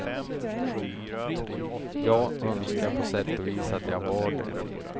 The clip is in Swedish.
Jag önskar på sätt och vis att jag var det.